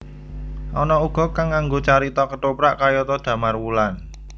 Ana uga kang nganggo carita kethoprak kayata Damarwulan